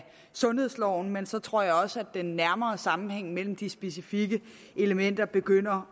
sundhedsloven men så tror jeg også at den nærmere sammenhæng mellem de specifikke elementer begynder